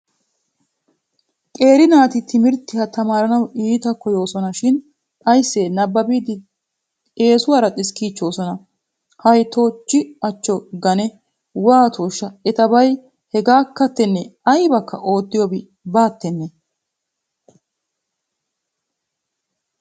Qeeri naati timirttiya tamaaranawu iita koyyoosna shin ayssee nabbabiiddi eesuwaara xiskkiichchoosona. Hay toochchi achcho gane waatoshsha etabay hegaakkattennee aybakka oottiyobi bawattennee.